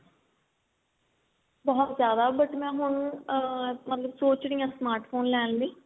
ਬਹੁਤ ਜਿਆਦਾ ਬਟ ਮੈਂ ਹੁਣ ਅਮ ਸੋਚ ਰਹੀ ਹਾਂ smart phone ਲੈਣ ਲਈ